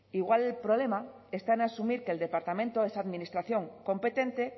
igual el problema está en asumir que el departamento esa administración competente